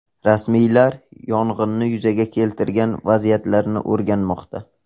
Rasmiylar yong‘inni yuzaga keltirgan vaziyatlarni o‘rganmoqda.